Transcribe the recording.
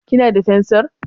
Kina da fensir?